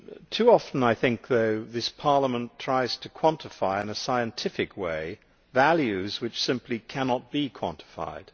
Too often I think, though, this Parliament tries to quantify in a scientific way values which simply cannot be quantified.